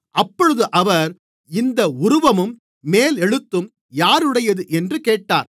அப்பொழுது அவர் இந்த உருவமும் மேலெழுத்தும் யாருடையது என்று கேட்டார்